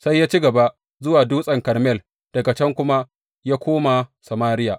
Sai ya ci gaba zuwa Dutsen Karmel, daga can kuma ya koma Samariya.